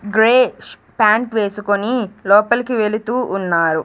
Grey ష్ pant వేసుకొని లోపలికి వెళుతూ ఉన్నారు.